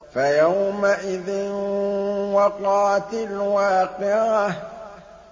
فَيَوْمَئِذٍ وَقَعَتِ الْوَاقِعَةُ